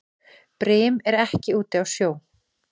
Brim er ekki úti á sjó.